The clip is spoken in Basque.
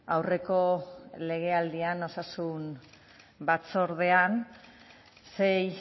aurreko legealdian osasun batzordean sei